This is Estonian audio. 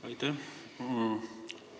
Aitäh!